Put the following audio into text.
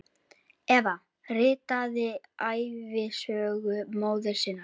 Eva ritaði ævisögu móður sinnar.